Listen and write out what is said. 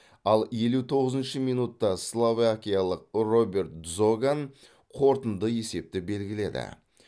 ал елу тоғызыншы минутта словакиялық роберт дзоган қорытынды есепті белгіледі